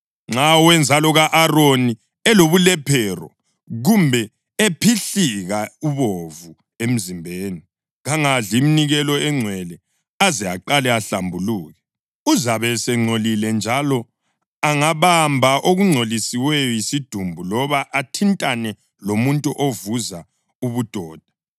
Nxa owenzalo ka-Aroni elobulephero kumbe ephihlika ubovu emzimbeni, kangadli iminikelo engcwele aze aqale ahlambuluke. Uzabe esengcolile njalo angabamba okungcoliswe yisidumbu loba athintane lomuntu ovuza ubudoda,